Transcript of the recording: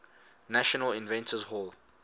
national inventors hall